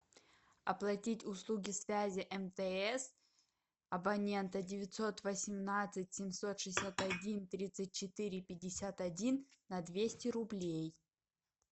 оплатить услуги связи мтс абонента девятьсот восемнадцать семьсот шестьдесят один тридцать четыре пятьдесят один на двести рублей